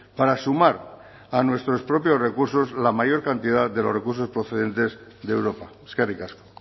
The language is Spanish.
para sumar a nuestros propios recursos la mayor cantidad de los recursos procedentes de europa eskerrik asko